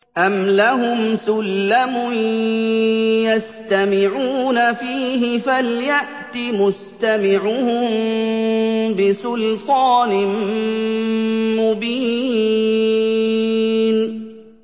أَمْ لَهُمْ سُلَّمٌ يَسْتَمِعُونَ فِيهِ ۖ فَلْيَأْتِ مُسْتَمِعُهُم بِسُلْطَانٍ مُّبِينٍ